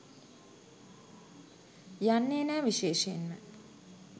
යන්නේ නෑ විශේෂයෙන්ම